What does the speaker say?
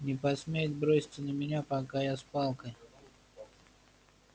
не посмеет броситься на меня пока я с палкой